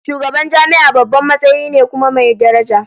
Shugaban jami'a babban matsayi ne kuma mai daraja